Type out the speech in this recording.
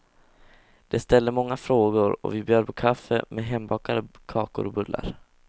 De ställde många frågor och vi bjöd på kaffe med hembakade kakor och bullar.